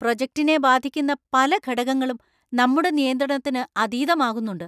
പ്രോജെക്ടിനെ ബാധിക്കുന്ന പല ഘടകങ്ങളും നമ്മുടെ നിയന്ത്രണത്തിന് അതീതമാകുന്നുണ്ട്.